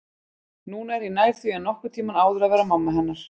Núna er ég nær því en nokkurn tímann áður að vera mamma hennar